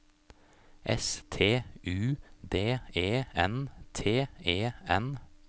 S T U D E N T E N